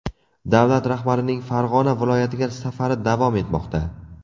Davlat rahbarining Farg‘ona viloyatiga safari davom etmoqda.